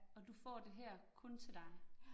Og du får det her kun til dig